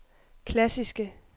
klassiske